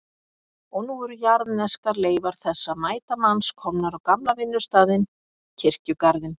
Og nú eru jarðneskar leifar þessa mæta manns komnar á gamla vinnustaðinn, kirkjugarðinn.